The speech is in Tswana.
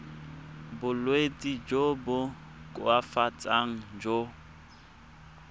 bolwetsi jo bo koafatsang jo